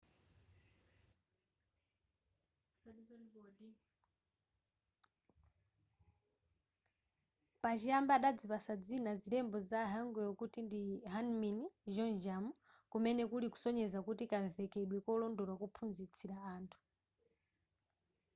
pachiyambi adazipatsa dzina zilembo za hangeul kuti ndi hunmin jeongeum kumene kuli kusonyeza kuti kamvekedwe kolondola kophunzitsira anthu